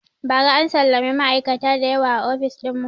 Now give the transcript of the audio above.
Ba ra an salami ma'aikata da yawa a ofis ɗin mu